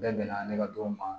Bɛɛ bɛnna ne ka donw ma